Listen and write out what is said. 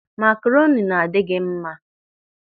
Makaroni na-adị gị mma.